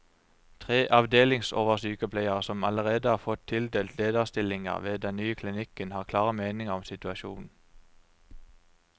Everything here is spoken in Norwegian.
Tre avdelingsoversykepleiere, som allerede har fått tildelt lederstillinger ved den nye klinikken, har klare meninger om situasjonen.